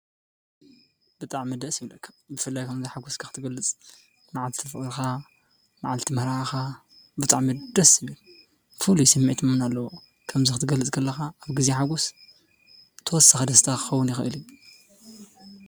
ብጣዕሚ ደስ ይብለካ፡፡ ብፍላይ ከምዚ ሓጎስካ ክትገልፅ ንመዓልቲ ፍቅርካ፣ መዓልቲ መርዓካ ብጣዕሚ ደስ ይብል፡፡ ፉሉይ ስሚዒት እውን ኣለዎ። ከምዚ ክትገልፅ ከለካ ኣብ ግዜ ሓጎስ ተወሳኪ ደሰታ ክኸውን ይኽእል እዩ፡፡